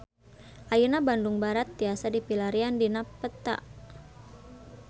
Ayeuna Bandung Barat tiasa dipilarian dina peta